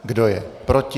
Kdo je proti?